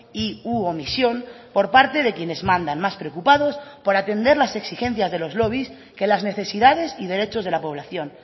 y u omisión por parte de quienes mandan más preocupados por atender las exigencias de los lobbies que las necesidades y derechos de la población